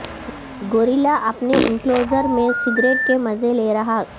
guerrilla اپنے enclosure میں cigarette کے مزے لے رہا ہے